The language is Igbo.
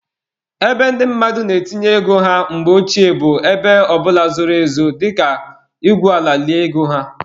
Ebe ndị mmadụ na-etinye ego ha mgbe ochie bụ ebe ọbụla zoro ezo dịka igwu ala lie ego ha.